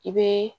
I bɛ